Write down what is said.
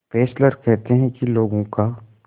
Fessler कहते हैं कि लोगों का